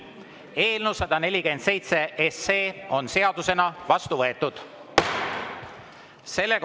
Eelnõu 147 on seadusena vastu võetud.